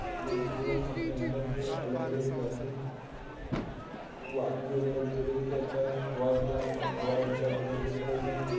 ને જે riverfront ની અંદર જે અલગ અલગ જાત ની જેમ કે અત્યારે હવાઈ plan હવાઈ અડ્ડા તરીકે પણ એને